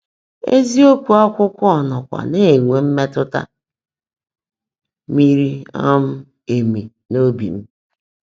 Ézíokwú ákwụ́kwọ́ nọ́kwá ná-énwé mmétụ́tá míri um éméé n’óbi m.